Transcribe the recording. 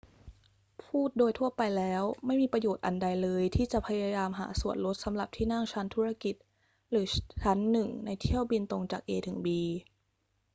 พูดโดยทั่วไปแล้ว ไม่มีประโยชน์อันใดเลยที่จะพยายามหาส่วนลดสำหรับที่นั่งชั้นธุรกิจหรือชั้นหนึ่งในเที่ยวบินตรงจาก a ถึง b